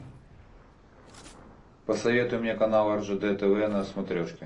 посоветуй мне канал ржд тв на смотрешке